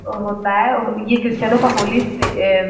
होता है। ये क्रिस्चियनो का होली स पे ए --